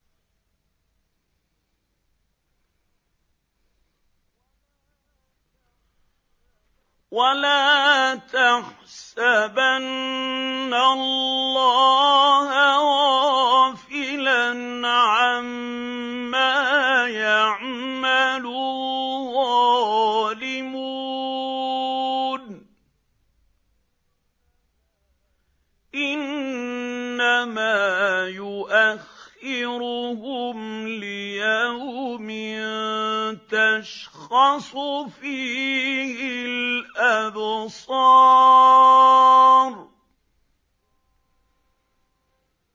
وَلَا تَحْسَبَنَّ اللَّهَ غَافِلًا عَمَّا يَعْمَلُ الظَّالِمُونَ ۚ إِنَّمَا يُؤَخِّرُهُمْ لِيَوْمٍ تَشْخَصُ فِيهِ الْأَبْصَارُ